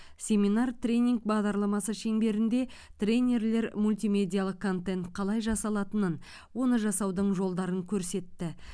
семинар тренинг бағдарламасы шеңберінде тренерлер мультимедиалық контент қалай жасалатынын оны жасаудың жолдарын көрсетті